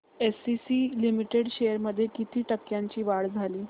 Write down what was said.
ACC limited shares मध्ये किती टक्क्यांची वाढ झाली